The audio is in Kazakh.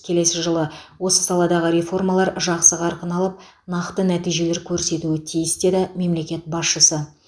келесі жылы осы саладағы реформалар жақсы қарқын алып нақты нәтижелер көрсетуі тиіс деді мемлекет басшысы